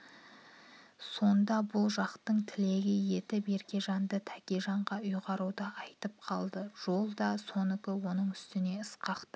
сонда бұл жақтың тілегі етіп еркежанды тәкежанға ұйғаруды айтып қалды жол да сонікі оның үстіне ысқақта